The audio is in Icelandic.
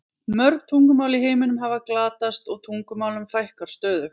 Mörg tungumál í heiminum hafa glatast og tungumálum fækkar stöðugt.